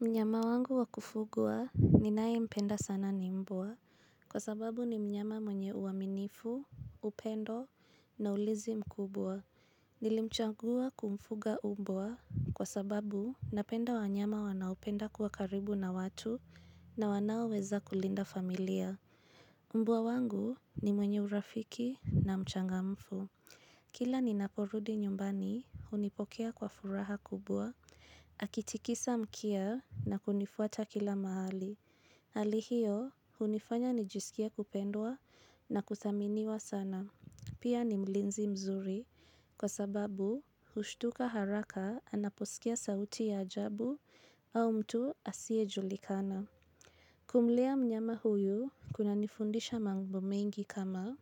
Mnyama wangu wa kufugwa ninaye mpenda sana ni mbwa. Kwa sababu ni mnyama mwenye uaminifu, upendo na ulizi mkubwa. Nilimchangua kumfuga mbwa kwa sababu napenda wanyama wanaopenda kuwa karibu na watu na wanaweza kulinda familia. Mbwa wangu ni mwenye urafiki na mchangamfu. Kila ni naporudi nyumbani, hunipokea kwa furaha kubwa. Akitikisa mkia na kunifuata kila mahali. Hali hiyo, unifanya nijisikie kupendwa na kudhaminiwa sana. Pia ni mlinzi mzuri, kwa sababu, hushtuka haraka anaposikia sauti ya ajabu au mtu asiye julikana. Kumlea mnyama huyu kuna nifundisha mambo mengi kama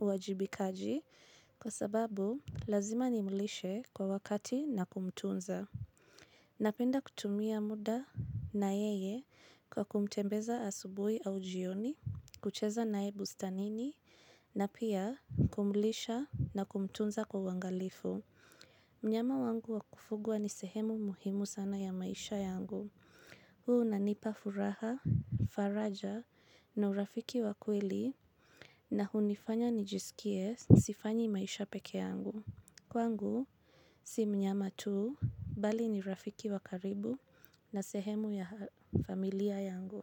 uwajibikaji kwa sababu lazima nimlishe kwa wakati na kumtunza. Napenda kutumia mda na yeye kwa kumtembeza asubuhi au jioni, kucheza naye bustanini na pia kumlisha na kumtunza kwa uangalifu. Mnyama wangu wakufugwa ni sehemu muhimu sana ya maisha yangu. Huu unanipa furaha, faraja na urafiki wa kweli na hunifanya nijisikie sifanyi maisha pekee yangu. Kwangu si mnyama tu bali ni rafiki wakaribu na sehemu ya familia yangu.